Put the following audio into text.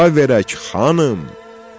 Xeyir-dua verək, xanım.